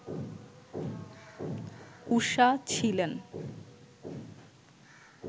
ঊষা ছিলেন